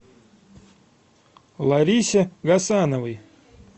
ларисе гасановой